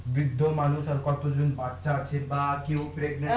বৃদ্ধ মানুষ আর কতো জন বাচ্চা আছে বা কেউ